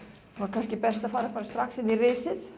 kannski best að fara strax inn í risið